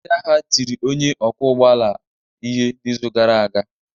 Ndị agha a tiri onye ọkwọ ụgbọ ala ihe n'izu gara aga.